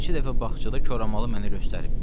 Neçə dəfə bağçada koramalı mənə göstərib.